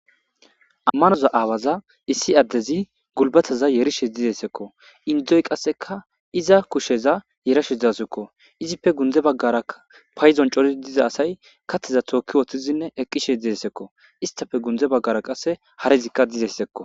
ammanoza aawaza issi addezi gulbataza yerishe didessekko indzoy qasseka iza kusheza yerashe dazukko izippe gunde baggaraa payzon cori diza asay kateza tookki wooththizinne eqqishe didessekko istafe gunde baggara qasse harizikka dizessekko